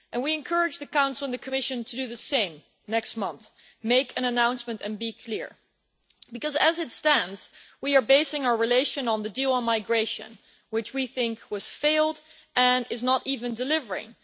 We encourage the Council and the Commission to do the same next month make an announcement and be clear because, as it stands, we are basing our relation on the deal on migration, which we think has failed and is not even delivering.